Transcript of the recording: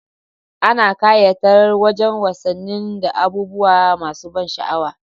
Ana ƙayata wajan wasannin da abubuwa masa ban sha'awa